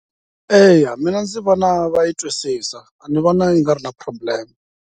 Eya mina ndzi vona va yi twisisa a ni vona yi nga ri na problem.